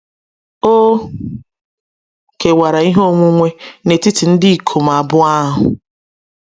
O kewara ihe onwunwe n’etiti ndị ikom abụọ ahụ.